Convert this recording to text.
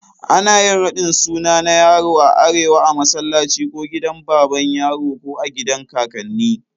Ana ƴin raɗin sunna na yaro a arewa a massalaci ko gidan baban yaro ko agidan kakanni.